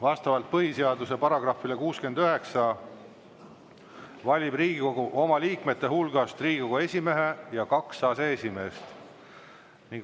Vastavalt põhiseaduse §-le 69 valib Riigikogu oma liikmete hulgast Riigikogu esimehe ja kaks aseesimeest.